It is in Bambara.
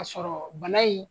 Ka sɔrɔ bana in